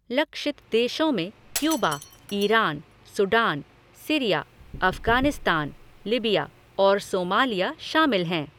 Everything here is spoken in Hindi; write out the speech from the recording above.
लक्षित देशों में Cuba, Iran, Sudan, Syria, Afghanistan, Libya और सोमालिया शामिल हैं।